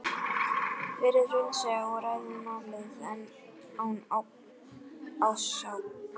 Verið raunsæ og ræðið málið án ásakana.